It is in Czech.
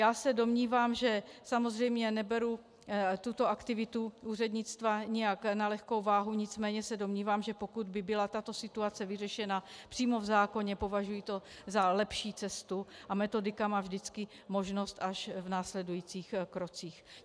Já se domnívám, že samozřejmě neberu tuto aktivitu úřednictva nijak na lehkou váhu, nicméně se domnívám, že pokud by byla tato situace vyřešena přímo v zákoně, považuji to za lepší cestu, a metodika má vždycky možnost až v následujících krocích.